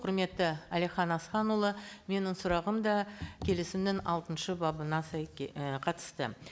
құрметті әлихан асханұлы менің сұрағым да келісімнің алтыншы бабына ы қатысты